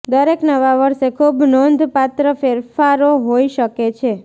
દરેક નવા વર્ષે ખૂબ નોંધપાત્ર ફેરફારો હોઈ શકે છે